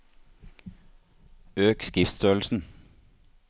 Øk skriftstørrelsen